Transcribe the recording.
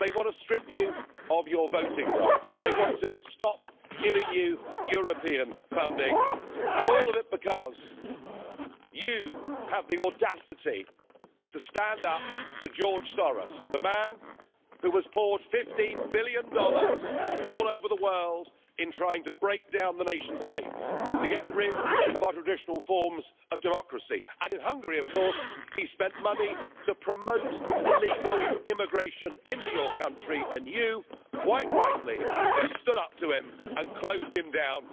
They want to strip you of your voting rights, they want to stop giving you European funding, and all of it because you have the audacity to stand up to George Soros, the man who has poured USD 15 billion all over the world in trying to break down the nation states and to get rid of our traditional forms of democracy. In Hungary he spent money to promote illegal immigration into your country and you, quite rightly, have stood up to him and closed him down.